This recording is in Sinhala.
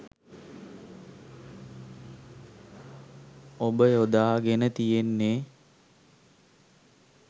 ඔබ යොදා ගෙන තියෙන්නේ